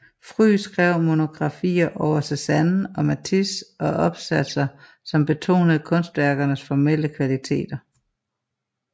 Fry skrev monografier over Cézanne og Matisse og opsatser som betonede kunstværkernes formelle kvaliteter